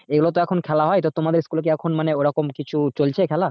এ গুলোতো এখন খেলা হয় তো তোমাদের school এ কি এখন মানে ও রকম কিছু চলছে খেলা?